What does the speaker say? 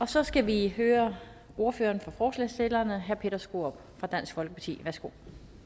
så skal vi høre ordføreren for forslagsstillerne herre peter skaarup fra dansk folkeparti værsgo